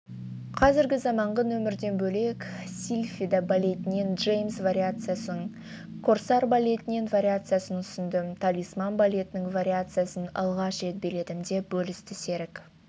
қазіргі заманғы нөмірден бөлек сильфида балетінен джеймс вариациясын корсар балетінің вариациясын ұсындым талисман балетінің вариациясын алғаш рет биледім деп бөлісті серік